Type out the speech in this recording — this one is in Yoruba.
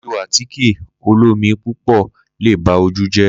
Lílò àtíkè olómi púpọ léè ba ojú jẹ́.